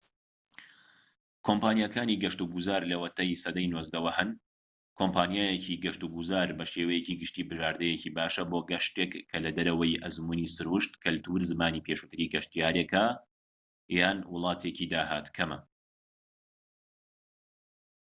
کۆمپانیاکانی گەشت و گوزار لەوەتەیی سەدەی 19ەوە هەن کۆمپانیایەکی گەشت و گوزار بە شێوەیەکی گشتی بژاردەیەکی باشە بۆ گەشتێک کە لە دەرەوەی ئەزموونی سروشت کەلتور زمانی پێشووتری گەشتیارێکە یان وڵاتێکی داهات کەمە